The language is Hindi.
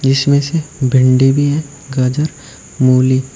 इसमें से भिंडी भी है गाजर मूली--